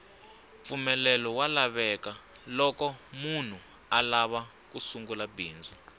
mpfumelelo wa lavekaloko munhu alava ku sungula bindzu